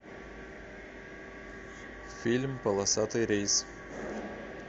фильм полосатый рейс